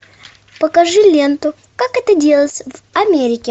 покажи ленту как это делается в америке